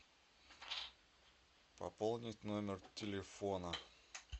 пополнить номер телефона